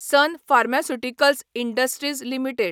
sun Pharmaceuticals Industries limited